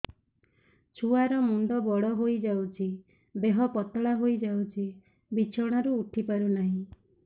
ଛୁଆ ର ମୁଣ୍ଡ ବଡ ହୋଇଯାଉଛି ଦେହ ପତଳା ହୋଇଯାଉଛି ବିଛଣାରୁ ଉଠି ପାରୁନାହିଁ